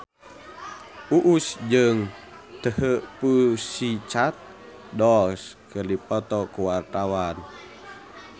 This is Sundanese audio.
Uus jeung The Pussycat Dolls keur dipoto ku wartawan